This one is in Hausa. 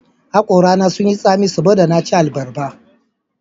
Hakorana sun yi tsami saboda na ci abarba